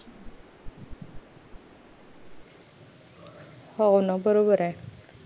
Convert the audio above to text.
हो ना बरोबरये